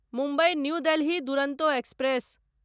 Mumbai new Delhi Duronto express